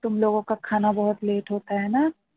late